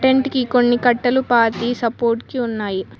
ఇంటికి కొన్ని కట్టెలు పాతి సపోర్ట్ కి ఉన్నాయి.